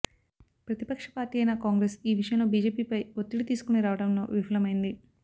ప్రతిపక్ష పార్టీ అయిన కాంగ్రెస్ ఈ విషయంలో బిజెపిపై ఒత్తిడి తీసుకుని రావడంలో విఫలమైంది